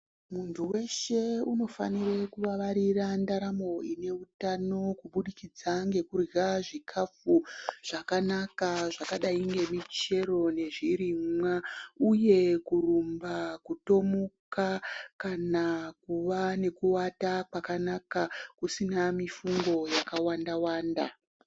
Muntu weshe unofanire kuwawarire ndaramo une utano kubudikidza ngekurya zvikafu zvakanaka zvakadai ngemichero nezvirimwa uye kurumba, kutomuka kana kuva nekuwata kwakanaka usina mifungo yakawanda-wanda.